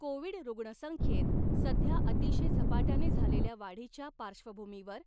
Covid रुग्णसंख्येत सध्या अतिशय झपाट्याने झालेल्या वाढीच्या पार्श्वभूमीवर